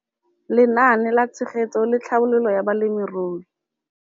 Lenaane la Tshegetso le Tlhabololo ya Balemirui.